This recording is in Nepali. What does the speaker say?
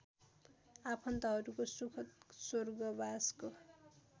आफन्तहरूको सुखद स्वर्गवासको